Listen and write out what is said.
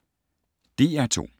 DR2